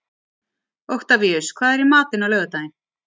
Oktavíus, hvað er í matinn á laugardaginn?